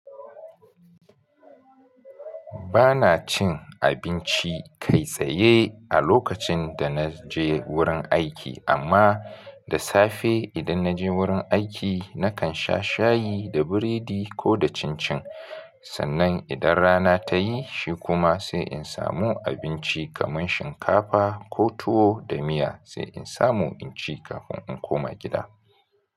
Ba na cin abinci kai tsaye a lokacin da na je wurin aiki, amma da safe idan na je wurin aiki, na kan sha shayi da biredi ko da cin cin. Sannan idan rana ta yi, shi kuma sai in samu abinci kamar shinkafa ko tuwo da miya, sai in samu in ci kafin in koma gida.